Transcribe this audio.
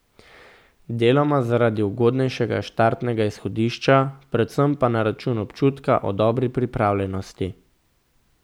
Deloma zaradi ugodnejšega štartnega izhodišča, predvsem pa na račun občutka o dobri pripravljenosti.